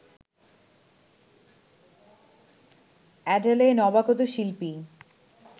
Adele নবাগত শিল্পী